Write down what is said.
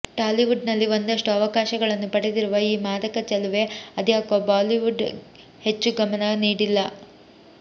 Tollywood ನಲ್ಲಿ ಒಂದಷ್ಟು ಅವಕಾಶಗಳನ್ನು ಪಡೆದಿರುವ ಈ ಮಾದಕ ಚೆಲುವೆ ಅದ್ಯಾಕೋ ಬಾಲಿವುಡ್ ಹೆಚ್ಚು ಗಮನ ನೀಡಿಲ್ಲ